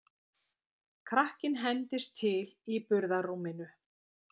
Krakkinn hendist til í burðarrúminu.